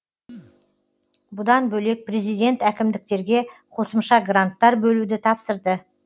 бұдан бөлек президент әкімдіктерге қосымша гранттар бөлуді тапсырды